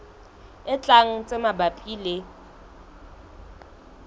e tlang tse mabapi le